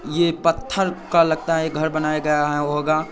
ये पत्थर का लगता है घर बनाया गया होगा।